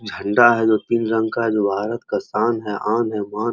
झंडा है जो तीन रंग का जो भारत का शान है आन है मान है।